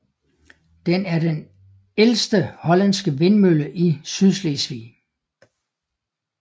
Den er den ældte hollandske vindmølle i Sydslesvig